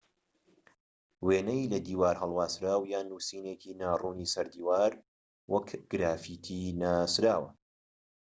وێنەی لە دیوار هەڵواسراو یان نووسینێکی ناڕوونی سەر دیوار وەک گرافیتی ناسراوە